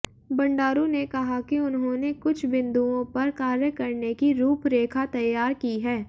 बंडारू ने कहा कि उन्होंने कुछ बिन्दुओं पर कार्य करने की रूपरेखा तैयार की है